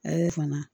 Ayi fana